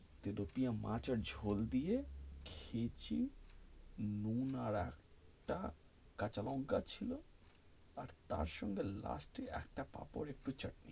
tilapia মাছের ঝোল দিয়ে খেয়েছি, নুন আর একটা কাঁচা লঙ্কা ছিল, তার সঙ্গে last এ একটা পাপাড, একটু চাটনি,